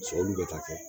Sɛbɛliw bɛ taa kɛ